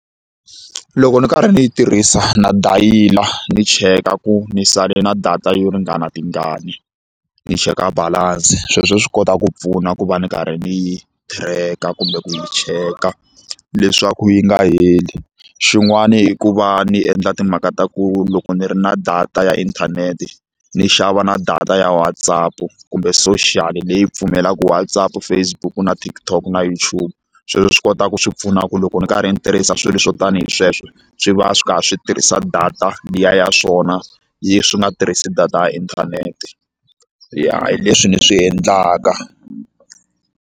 Loko ni karhi ni yi tirhisa na dayila ni cheka ku ni sale na data yo ringana tingani ni cheka balance sweswo swi kota ku pfuna ku va ni karhi ni yi thireka kumbe ku yi cheka leswaku yi nga heli xin'wani i ku va ni endla timhaka ta ku loko ni ri na data ya inthanete ni xava na data ya Whatsapp kumbe social leyi pfumelaka WhatsApp Facebook na TikTok na YouTube sweswo swi kota ku swi pfuna ku loko ndzi karhi ndzi tirhisa swilo swo tani hi sweswo swi va swi karhi swi tirhisa data liya ya swona yi swi nga tirhisi data ya inthanete ya hi leswi ni swi endlaka.